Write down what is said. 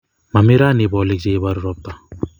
Momii raoni bolik che iboruu ropta